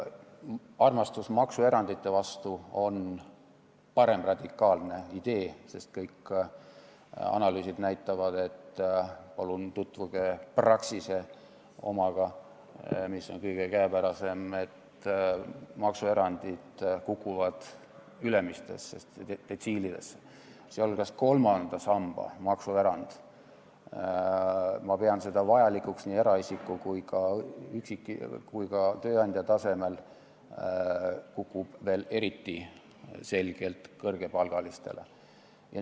Armastus maksuerandite vastu on paremradikaalne idee, sest kõik analüüsid näitavad – palun tutvuge Praxise omaga, mis on kõige käepärasem –, et maksuerandid ülemistes detsiilides kukuvad, sealhulgas kolmanda samba maksuerand – ma pean seda vajalikuks nii eraisiku kui ka tööandja tasemel – kukub veel eriti selgelt kõrgepalgaliste puhul.